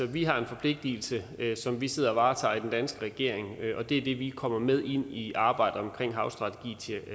vi har en forpligtelse som vi sidder og varetager i den danske regering og det er det vi kommer med i arbejdet omkring havstrategi